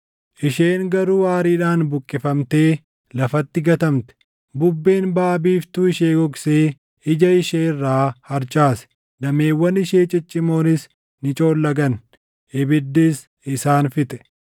Isheen garuu aariidhaan buqqifamtee lafatti gatamte. Bubbeen baʼa biiftuu ishee gogsee ija ishee irraa harcaase; dameewwan ishee ciccimoonis ni coollagan; ibiddis isaan fixe.